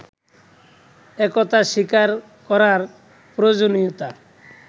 একথা স্বীকার করার প্রয়োজনীয়তা